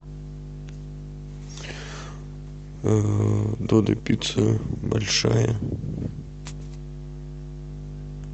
додо пицца большая